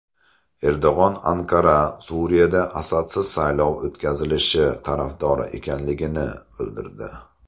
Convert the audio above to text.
Erdo‘g‘on Anqara Suriyada Asadsiz saylov o‘tkazilishi tarafdori ekanligini bildirdi.